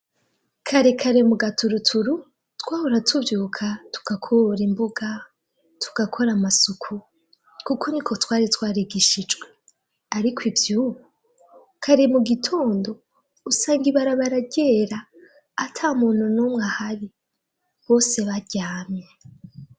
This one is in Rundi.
kare kare mu gaturuturu twahura tuvyuka tukakora imbuga tugakora amasuku kuko ni ko twari twaregishijwe ariko ivyubu kare mu gitondo usanga ibarabara ryera atamuntu numwe ahari bose baryamye